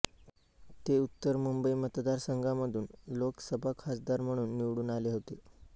ते उत्तर मुंबई मतदार संघामधून लोकसभा खासदार म्हणून निवडून आले होते